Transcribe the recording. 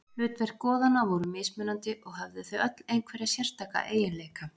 Hlutverk goðanna voru mismunandi og höfðu þau öll einhverja sérstaka eiginleika.